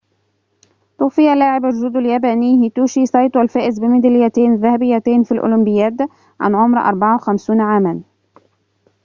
توفي لاعب الجودو الياباني هيتوشي سايتو الفائز بميداليتين ذهبيتين في الأولمبياد عن عمر 54 عامًا